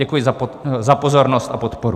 Děkuji za pozornost a podporu.